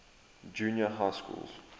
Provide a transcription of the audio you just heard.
junior high schools